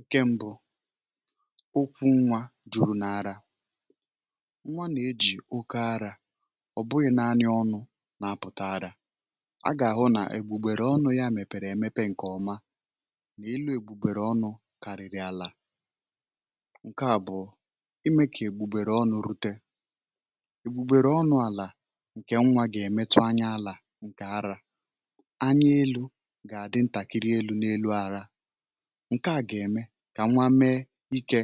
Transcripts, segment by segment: Ǹkè mbụ̇, okwu nwa jùrù n’ara nwa nà-ejì oke arȧ ọ̀ bụghị̇ nànị ọnụ̇ na-apụ̀ta arȧ a gà-àhụ nà ègbùgbèrè ọnụ̇ ya mèpèrè èmepe ǹkè ọma nà-elu ègbùgbèrè ọnụ̇ kàrị̀rị̀ àlà. Ǹkè abụ̀ọ i mee kà ègbùgbèrè ọnụ̇ rute, ègbùgbèrè ọnụ̇ àlà ǹkè nwa gà-èmetụ anya àlà ǹkè arȧ ányá élú gá àdị ntakịrị élú nà élú ara ǹke à gà-ème kà nwa mee ikė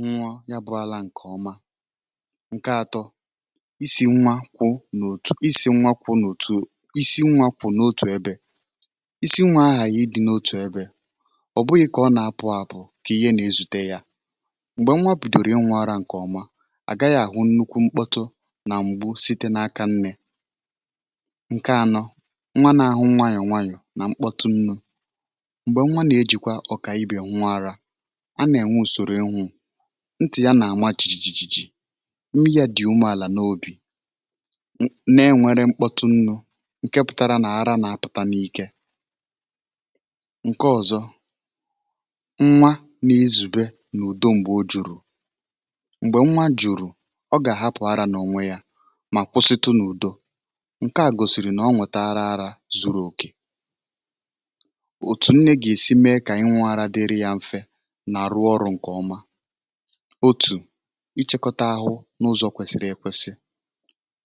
ṅụọ yá bụ àlà ǹkè ọma. Ǹke atọ isi nwa kwụ n’òtù isi nwa kwụ n’òtù isi nwa kwụ̇ n’otù ébé, ísì nwà aghaghị ịdị n’otù ebė ọ̀ bụghị̇ kà ọ nà-apụ̇ àpụ̀ kà ihé n’ezute yȧ m̀gbè nwa bidòrò ịṅụ̇ ara ǹkè ọma à gaghị̇ àhụ nnukwu mkpọtụ nà m̀gbu̇ site n’aka nnė. Ǹke anọ nwà nà-àhụ nwayọ̀ nwayọ̀ nà mkpọtụ nnu̇ m̀gbè nwa nà-ejìkwa ọ̀kà ibè ṅụ ara a nà-ènwe ùsòrò enwú ntì ya nà-àma chi̇ji̇ ji̇ ji imi yá dị̀ umeàlà n’òbì na-ènwere mkpọtụ ńnú ǹke pụtara nà-ara nà-apụ̀ta n’ike. Ǹke ọ̀zọ nwa nà-izùbe n’ùdo m̀gbè o jùrù, m̀gbè nwa jùrù ọ gà-àhapụ̀ ara n’ònwe yȧ mà kwụsịtụ n’ùdo ǹke à gòsìrì nà ọ nwetara ara zuru òkè, otú nné gá esi mee kà ịṅụ ara dịrị yá mfè nà rụọ ọrụ nke ọmá, òtù íchè-kọta áhụ nà ụzọ kwesịrị ekwesị.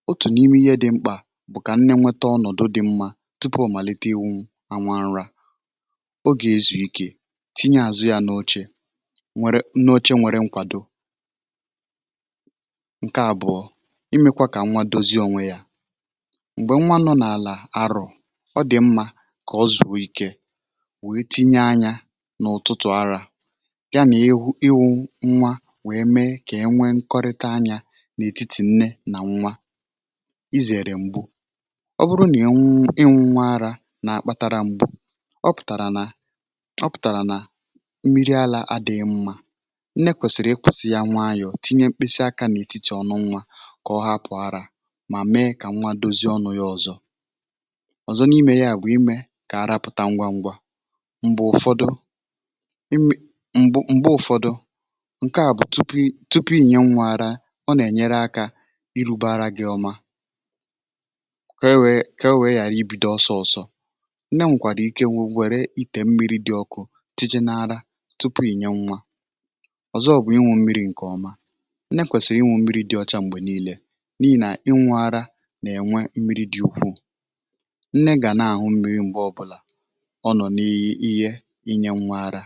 Òtù n'ime ihé dị mkpa bụ kà nné nweta ọnọdụ dị mmá tupu ọ malite ịṅụ nwà ara ọ gá ézú ike, tinye azụ yá nà óche nwèrè nà óche nwèrè nkwado. Ǹke àbụ̀ọ̀ imėkwȧ kà nwa dozi onwe yȧ, m̀gbè nwa nọ̀ n’àlà arọ̀ ọ dị̀ mmȧ kà ọzụọ ikė wee tinye ányá n’ụ̀tụtụ̀ arȧ ya na-ịhụ ịhụ nwa wèe mee kà e nwee nkọrịta anyȧ n’ètitì nne nà nwa izère m̀gbu ọ bụrụ nà ị nwụ ị nwụ̇ nwa arȧ nà-akpȧtara m̀gbu ọ pụ̀tàrà nà ọ pụ̀tàrà nà mmiri alȧ adị̇ghị m̀ma nne kwèsìrì ị kwụsì ya nwa ayọ̀ tinye mkpịsị akȧ n’ètiti ọnụ nwa kà ọ hapụ̀ arȧ mà mee kà nwa dozi ọnụ̇ ọ̀zọ, ọ̀zọ n’ime ya bụ̀ imė kà ara pụ̀ta ngwa ngwa m̀gbè ụfọdụ ímé m̀gbè mgbè ụ̇fọdụ ǹke à bụ̀ tupu ị tupu ị inye nwȧ ara ọ nà-ènyere akȧ irugbȧ ara gị̇ ọma kee wèe, kee wèe ghàra ibido ọsọ ọ̇sọ̇ nne nwèkwàrà ike nwụ̇ nwere itè mmiri̇ dị̇ ọkụ tije n’ara tupu inye nwȧ. Ọ̀zọ bụ̀ ịṅụ mmiri̇ ǹkè ọma, nné kwèsìrì ịṅụ mmiri̇ dị̇ ọcha m̀gbè niilė n'ihi nà ịṅụ ara nà-ènwe mmiri̇ dị̀ ukwuù, nné gá ná aṅụ mmiri mgbe ọbụla ọnọ ni iye inye nwà ara.